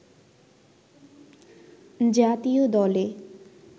জাতীয় দলে